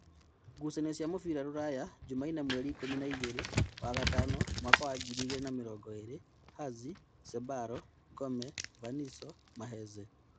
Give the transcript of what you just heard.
Ngucanio cia mũbira Ruraya Jumaine mweri ikũmi na-igĩrĩ wa-gatano mwaka wa ngirĩ igĩrĩ na mĩrongoĩrĩ: Hazi, Sebalo, Ngome, Vaniso, Maheze